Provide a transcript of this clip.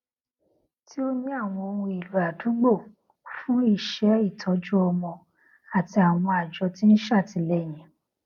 tí ó ní àwọn ohunèlò àdúgbò fún iṣẹ ìtọjú ọmọ àti àwọn àjọ tí ń ṣe àtìléyìn